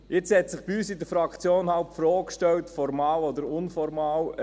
Nun hat sich bei uns in der Fraktion die Frage gestellt – formal oder unformal: